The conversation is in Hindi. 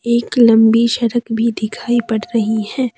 एक लम्बी सरक भी दिखाई पड़ रही है।